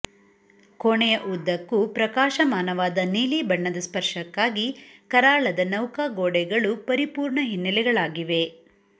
ಕೋಣೆಯ ಉದ್ದಕ್ಕೂ ಪ್ರಕಾಶಮಾನವಾದ ನೀಲಿ ಬಣ್ಣದ ಸ್ಪರ್ಶಕ್ಕಾಗಿ ಕರಾಳದ ನೌಕಾ ಗೋಡೆಗಳು ಪರಿಪೂರ್ಣ ಹಿನ್ನೆಲೆಗಳಾಗಿವೆ